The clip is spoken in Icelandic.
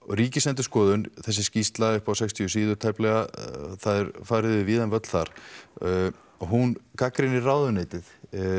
Ríkisendurskoðun þessi skýrsla upp á sextíu síður tæplega það er farið yfir víðann völl þar hún gagnrýnir ráðuneytið